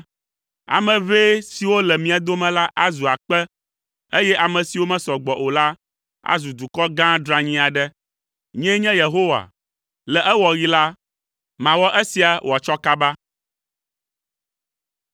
Ame ʋɛ siwo le mia dome la azu akpe, eye ame siwo mesɔ gbɔ o la azu dukɔ gã dranyi aɖe. Nyee nye Yehowa, le ewɔɣi la, mawɔ esia wòatsɔ kaba.”